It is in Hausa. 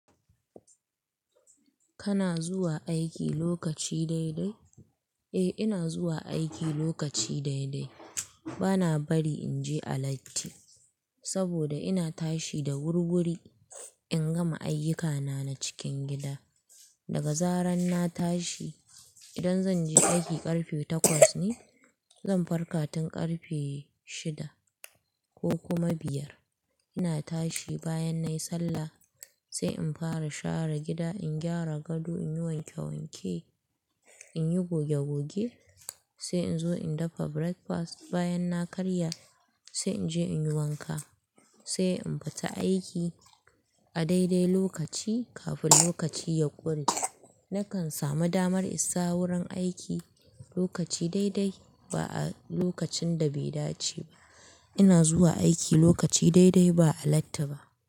Kana zuwa aiki lokaci daidai? Eh, ina zuwa aiki lokaci daidai. Bana bari in je a latti, saboda ina tashi da wurwuri in gama ayyukana na cikin gida. Daga zaran na tashi, idan zan je aiki ƙarfe takwas ne, zan farka tun ƙarfe shida ko kuma biyar. Ina tashi bayan na yi sallah, sai in fara share gida, in gyara gado, in yi wanke wanke, in yi goge goge, sai in zo in dafa breakfast. Bayan na karya, sai in je in yi wanka, sai in fita aiki a daidai lokaci kafin lokaci ya ƙure. Nakan samu damar isa wurin aiki lokaci daidai, ba a lokacin da bai dace ba. Ina zuwa aiki lokaci daidai ba a latti ba.